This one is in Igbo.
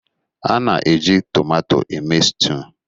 A na-eji tomatọ eme stuụ.